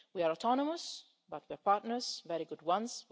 We are autonomous, but we are partners very good ones.